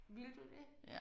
Ville du det?